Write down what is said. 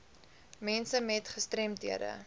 mense met gestremdhede